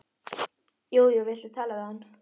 Jú jú, viltu tala við hann?